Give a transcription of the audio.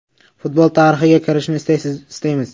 Futbol tarixiga kirishni istaymiz.